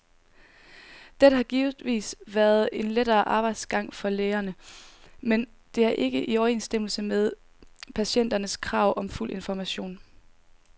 Dette har givetvis været en lettere arbejdsgang for lægerne, men det er ikke i overensstemmelse med patienternes krav om fuld information.